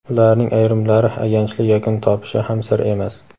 ularning ayrimlari ayanchli yakun topishi ham sir emas.